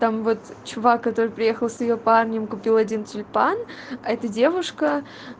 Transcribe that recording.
там вот чувак который приехал с её парнем купил один тюльпан это девушка